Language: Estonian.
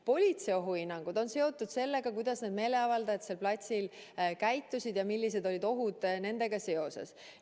Politsei ohuhinnangud on seotud sellega, kuidas need meeleavaldajad seal platsil käitusid ja millised olid ohud nendega seoses.